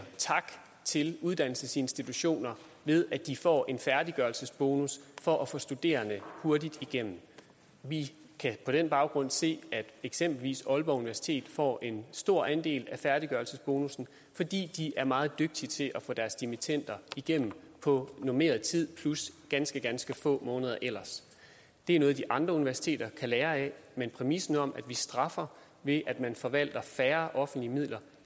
tak til uddannelsesinstitutioner ved at de får en færdiggørelsesbonus for at få studerende hurtigt igennem vi kan på den baggrund se at eksempelvis aalborg universitet får en stor andel af færdiggørelsesbonussen fordi de er meget dygtige til at få deres dimittender igennem på normeret tid plus ganske ganske få måneder ellers det er noget de andre universiteter kan lære af men præmissen om at vi straffer ved at man forvalter færre offentlige midler